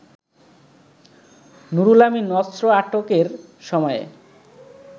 নুরুল আমিন অস্ত্র আটকের সময়ে